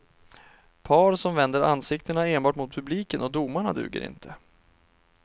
Par som vänder ansiktena enbart mot publiken och domarna duger inte.